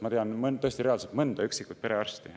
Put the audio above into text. Ma tean mõnda, tõesti mõnda üksikut perearsti,.